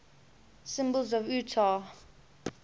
symbols of utah